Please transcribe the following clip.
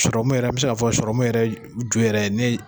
yɛrɛ, n be se ka fɔ yɛrɛ ju yɛrɛ ni ye